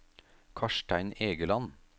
Karstein Egeland